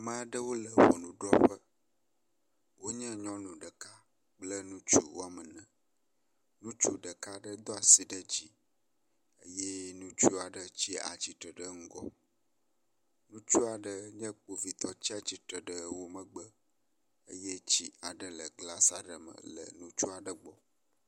Ame aɖewo le ʋɔnuɖrɔƒe wonye nyɔnu ɖeka kple ŋutsu woame ene. Ŋutsu ɖeka aɖe do asi ɖe dzi eye ŋutsu aɖe tsi atsitre ɖe eƒe ŋgɔ, Ŋutsu aɖe enye kpovitɔ tsatsitre ɖe wo megbe eye tsi aɖe le glass aɖe me le ŋutsu aɖe gbɔ.